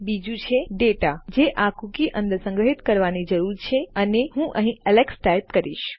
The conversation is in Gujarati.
બીજુ છે ડેટા જે આ કૂકી અંદર સંગ્રહિત કરવાની જરૂર છે અને હું અહીં એલેક્સ ટાઇપ કરીશ